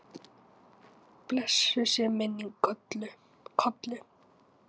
Blessuð sé minning Kollu.